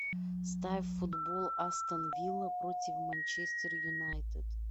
ставь футбол астон вилла против манчестер юнайтед